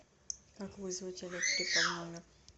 как вызвать электрика в номер